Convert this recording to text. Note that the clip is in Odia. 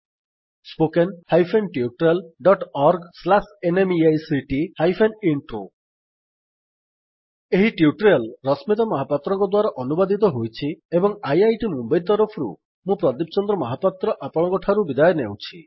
spoken hyphen tutorial dot org slash NMEICT hyphen intro ଏହି ଟ୍ୟୁଟୋରିଆଲ୍ ରଶ୍ମିତା ମହାପାତ୍ରଙ୍କ ଦ୍ୱାରା ଅନୁବାଦିତ ହୋଇଛି ଏବଂ ଆଇଆଇଟି ମୁମ୍ୱଇ ତରଫରୁ ମୁଁ ପ୍ରଦୀପ ଚନ୍ଦ୍ର ମହାପାତ୍ର ଆପଣଙ୍କଠାରୁ ବିଦାୟ ନେଉଛି